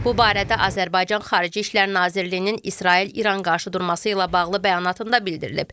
Bu barədə Azərbaycan Xarici İşlər Nazirliyinin İsrail-İran qarşıdurması ilə bağlı bəyanatında bildirilib.